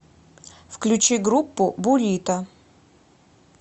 включи группу бурито